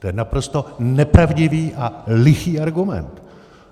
To je naprosto nepravdivý a lichý argument.